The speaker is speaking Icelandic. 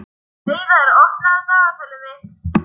Hreiðar, opnaðu dagatalið mitt.